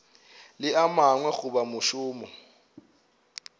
le a mangwe goba mošomo